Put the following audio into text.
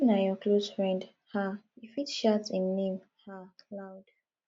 if na your close friend um you fit shout im name um loud